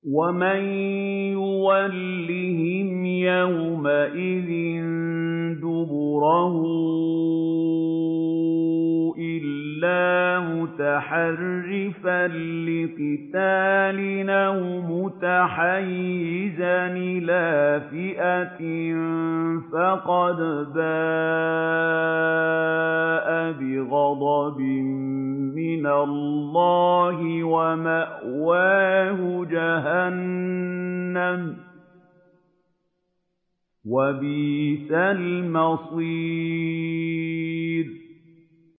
وَمَن يُوَلِّهِمْ يَوْمَئِذٍ دُبُرَهُ إِلَّا مُتَحَرِّفًا لِّقِتَالٍ أَوْ مُتَحَيِّزًا إِلَىٰ فِئَةٍ فَقَدْ بَاءَ بِغَضَبٍ مِّنَ اللَّهِ وَمَأْوَاهُ جَهَنَّمُ ۖ وَبِئْسَ الْمَصِيرُ